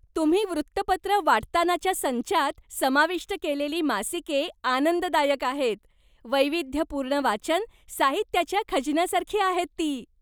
तुम्ही वृत्तपत्र वाटतानाच्या संचात समाविष्ट केलेली मासिके आनंददायक आहेत. वैविध्यपूर्ण वाचन साहित्याच्या खजिन्यासारखी आहेत ती.